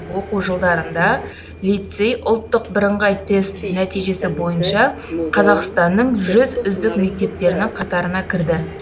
оқу жылдарында лицей ұлттық бірынғай тест нәтижесі бойынша қазақстанның жүз үздік мектептерінің қатарына кірді